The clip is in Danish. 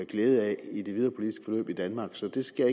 glæde af i det videre politiske forløb i danmark så der skal